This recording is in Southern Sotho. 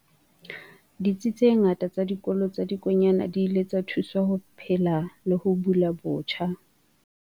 Ditsi tse ngata tsa Dikolo tsa Dikonyana di ile tsa thuswa ho phela le ho bula botjha.